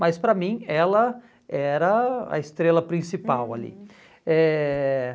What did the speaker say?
Mas para mim ela era a estrela principal ali. Eh